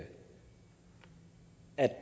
at